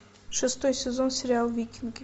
шестой сезон сериал викинги